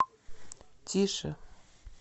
тише